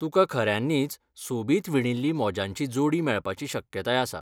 तुका खऱ्यांनीच सोबीत विणिल्ली मोजांची जोडी मेळपाची शक्यताय आसा.